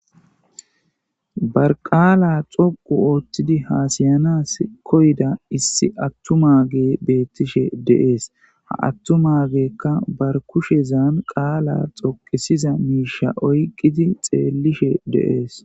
bar qaala xoqu ooththidi hasayanas koyda issi attuma ge beettishe deees ha attu magekka bar kushezan qaala xoqisiza miisha oyqqidi xeellishe deees